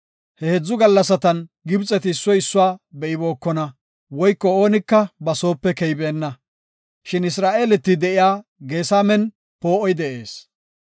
He heedzu gallasatan Gibxeti issoy issuwa be7ibookona woyko oonika ba soope keybeenna. Shin Isra7eeleti de7iya Geesamen poo7oy de7ees.